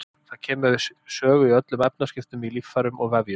Það kemur við sögu í öllum efnaskiptum í líffærum og vefjum.